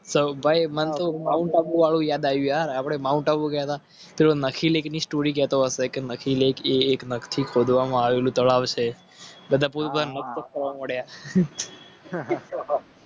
તો ભાઈ યાદ આવ્યું આપણે માઉન્ટનથી ખોદવામાં આવેલું તળાવ છે